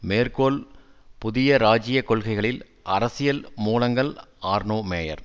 மேற்கோள் புதிய ராஜ்ஜிய கொள்கைகளில் அரசியல் மூலங்கள் ஆர்னோ மேயர்